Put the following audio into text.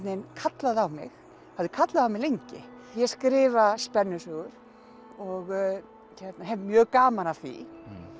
veginn kallaði á mig hafði kallað á mig lengi ég skrifa spennusögur og hef mjög gaman af því